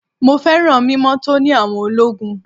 Mọ féràn mímọ́ tóní àwọn ológun.